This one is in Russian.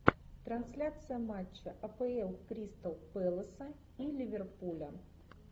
трансляция матча апл кристал пэласа и ливерпуля